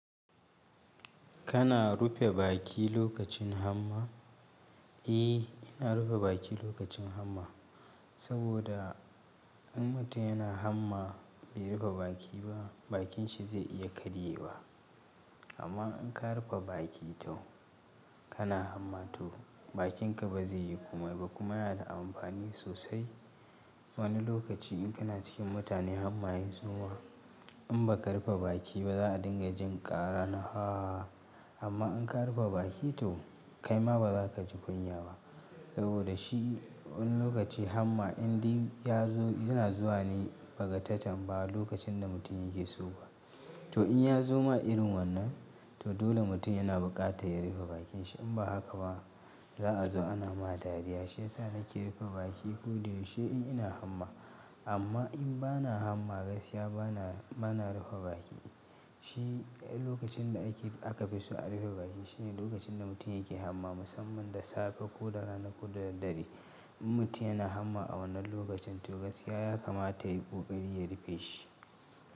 Kana rufe baki lokacin hamma? Eh, ina rufe baki lokacin hamma. Saboda in mutum yana hamma bai rufe baki ba, bakin shi zai iya karyewa. Amma in ka rufe baki to kana hamma to bakinka ba zai yi komai ba kuma yana da amfani sosai. Wani lokaci in kana cikin mutane hamma ya zuma in ba ka rufe baki ba za a dinga jin ƙara na ha. Amma in ka rufe baki to kaima ba za ka ji kunya ba. Saboda shi wani lokaci hamma indin ya zo yana zuwa ne ba ga ta tam ba lokacin da mutum yake so ba. To in ya zo ma irin wannan, to dole mutum yana buƙata ya rufe bakin shi in ba haka ba za a zo ana ma dariya. Shiyasa nake rufe baki ko da yaushe in ina hamma. Amma in bana hamma gaskiya bana, bana rufe baki. Shi lokacin da ake, aka fi so a rufe baki shine lokacin da mutum yake hamma musamman da safe ko rana ko dare dare. In mutum yana hamma a wannan lokacin to gaskiya ya kamata yayi ƙoƙari ya rufe shi.